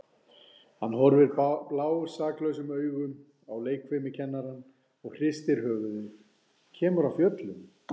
Hann horfir blásaklausum augum á leikfimikennarann og hristir höfuðið, kemur af fjöllum.